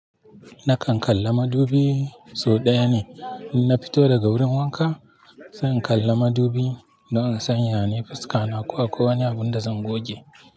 Nakan kalla madubi sau ɗaya ne in na fito daga wurin wanka, zan kalla madubi don in san ya ne fuska na ko akwai wani abun da zan goge.